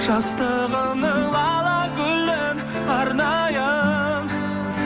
жастығымның лала гүлін арнайын